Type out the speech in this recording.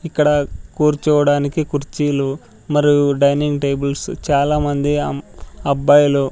ఇక్కడ కూర్చోవడానికి కుర్చీలు మరియు డైనింగ్ టేబుల్స్ చాలామంది అమ్ అబ్బాయిలు--